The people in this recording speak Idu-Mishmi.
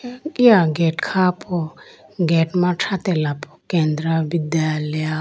Eya gate kha po gate ma thratelapo kendra vidyalaya.